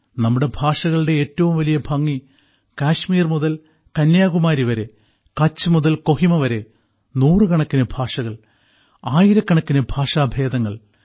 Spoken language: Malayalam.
നമ്മുടെ ഭാഷകളുടെ ഏറ്റവും വലിയ ഭംഗി കാശ്മീർ മുതൽ കന്യാകുമാരി വരെ കച്ച് മുതൽ കൊഹിമ വരെ നൂറുകണക്കിന് ഭാഷകൾ ആയിരക്കണക്കിന് ഭാഷാഭേദങ്ങളുണ്ട്